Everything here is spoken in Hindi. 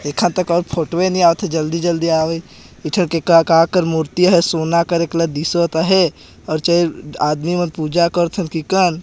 देखन त कहुक फोटो ए नइ आवत हे जल्द जल्दी आवे इथर का की मूर्ति हे सोना कलर को दिसत आहे ओर चर आदमी मन पूजा करथे की कन --